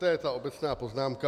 To je ta obecná poznámka.